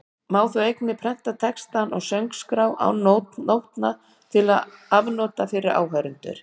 Má þá einnig prenta textann á söngskrá án nótna til afnota fyrir áheyrendur.